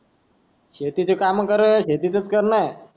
शेतीची काम करत शेतीतच करना मी नंतर मी